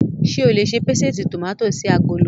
Ṣé o lè ṣe pésìtì tòmátì sí agolo?